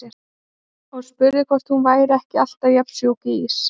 Og spurði hvort hún væri ekki alltaf jafn sjúk í ís.